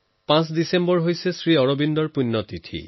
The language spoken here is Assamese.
৫ ডিচেম্বৰত শ্ৰী অৰবিন্দৰ পূণ্য তিথি